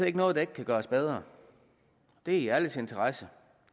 ikke noget der ikke kan gøres bedre det er i alles interesse